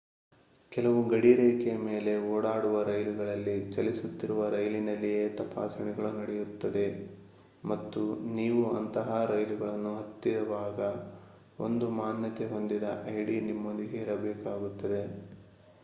ಕೆಲವು ಗಡಿ ರೇಖೆ ಮೇಲೆ ಓಡಾಡುವ ರೈಲುಗಳಲ್ಲಿ ಚಲಿಸುತ್ತಿರುವ ರೈಲಿನಲ್ಲಿಯೇ ತಪಾಸಣೆಗಳು ನಡೆಯುತ್ತವೆ ಮತ್ತು ನೀವು ಅಂತಹ ರೈಲುಗಳನ್ನು ಹತ್ತಿವಾಗ ಒಂದು ಮಾನ್ಯತೆ ಹೊಂದಿದ ಐಡಿ ನಿಮ್ಮೊಂದಿಗೆ ಇರಬೇಕಾಗುತ್ತದೆ